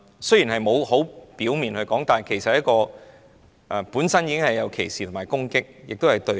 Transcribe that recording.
雖然沒有很表面地說，但本身已是含有歧視和攻擊，並且是對立的。